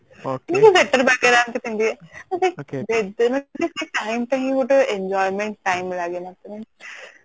ଆଉ sweater ଏମିତି ପିନ୍ଧିବେ ମାନେ ସେ time ଟା ହିଁ ଗୋଟେ enjoyment time ଲାଗେ ମତେ